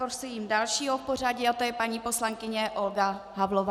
Prosím dalšího v pořadí a to je paní poslankyně Olga Havlová.